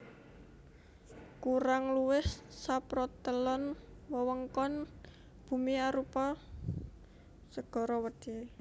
Kurang luwih saprotelon wewengkon bumi arupa segara wedhi